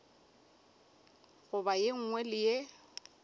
goba ye nngwe le ye